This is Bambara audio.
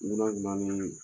Wula o wula an bɛ ɲɔgnɔ ye.